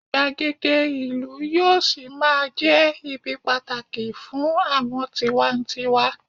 igbagede ìlú yíò sí ma je ibi pàtàkì fún àwọn tiwantiwa